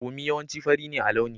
Bommi yawanci fari ne a launi.